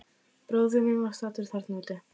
Bróðir minn var staddur þarna úti.